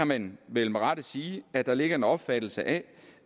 man vel med rette sige at der ligger en opfattelse af